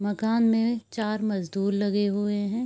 मकान में चार मजदूर लगे हुए हैं।